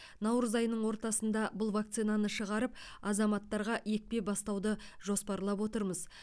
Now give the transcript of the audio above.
наурыз айының ортасында бұл вакцинаны шығарып азаматтарға екпе бастауды жоспарлап отырмыз